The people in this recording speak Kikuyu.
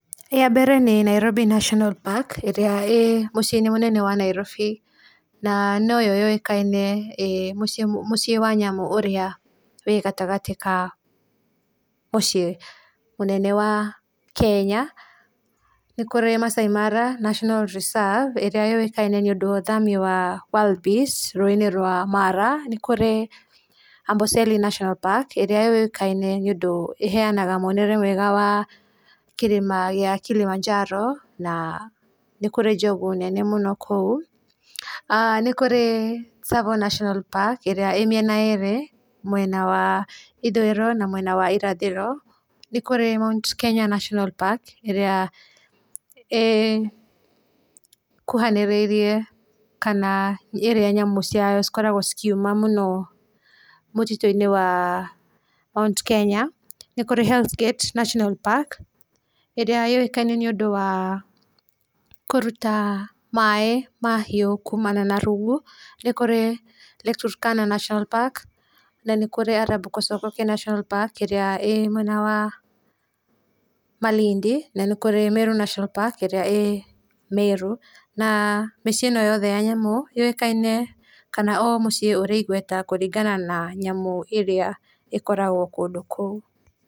Ya mbere nĩ Nairobi National park ĩrĩa ĩrĩ mũciĩ wa Nairobi na noyo yũĩkaine ĩĩ mũciĩ wa nyamũ ĩrĩa ĩgatagĩ ka mũciĩ mũnene wa Kenya, nĩ kũrĩ Maasai Mara National Reserve ĩrĩa yũĩkaine nĩ ũndũ wa ithamĩrio rĩa wildbeast rũĩinĩ rwa Mara, nĩ kũrĩ Amboseli National Park ĩrĩa yũĩkaine nĩ ũndũ ĩhenaga monereria mega ma kĩrĩma gĩa Kilimanjaro, nĩ kũrĩ njogu nene mũno kũu. Nĩ kũrĩ Tsavo National park ĩrĩa ĩĩ mĩene ĩrĩa ĩĩ mwena wa ithũĩro na mwena wa irathĩro, nĩ kũrĩ Mt Kenya National Park ĩrĩa ĩĩ kuhanĩrĩirie kana ĩrĩa nyamũ ciayo ikoragwo ikiuma mũno mũtitũ-inĩ wa Mt Kenya, nĩ kũrĩ Hells Gate National park ĩrĩa yũĩkaine na kũruta maĩ mahiũ kumana na rungu, nĩ kũrĩ Lake Turkana national park na nĩ kũrĩ Arab Kosovo national park ĩrĩa ĩrĩ mwena wa Malindi, na nĩ kũrĩ Meru national park ĩrĩa ĩrĩ mwena wa Meru na mĩciĩ ĩno yothe ya nyamũ yoĩkaine kana ĩrĩ igweta kũringana na nyamũ ĩrĩa ĩkoragwo kũndũ kũu.